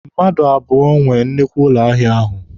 Mmadụ abụọ nwe nnukwu ụlọ ahịa ahụ.